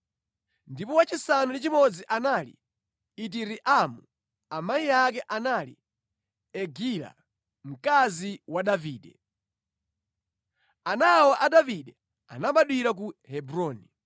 ndipo wachisanu ndi chimodzi anali Itireamu, amayi ake anali Egila, mkazi wa Davide. Ana awa a Davide anabadwira ku Hebroni.